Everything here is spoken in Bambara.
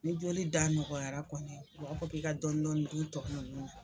Ni jolida nɔgɔyara kɔni u b'a fɔ k'i ka dɔɔni dɔɔni dun tɔ ninnu na.